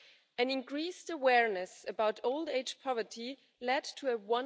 An increased awareness about old age poverty led to a